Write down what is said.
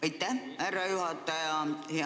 Aitäh, härra juhataja!